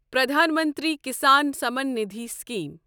Pradhan Mantri Kisan Samman Nidhi scheme